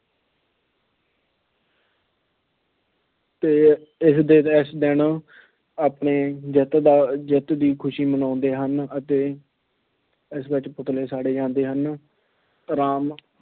ਤੇ ਇਸ ਦੇ ਇਸ ਦਿਨ ਆਪਣੀ ਜਿੱਤ ਦਾ ਜਿੱਤ ਦੀ ਖੁਸ਼ੀ ਮਨਾਉਂਦੇ ਹਨ ਅਤੇ ਇਸ ਵਿੱਚ ਪੁਤਲੇ ਵੀ ਸਾੜੇ ਜਾਂਦੇ ਹਨ। ਰਾਮ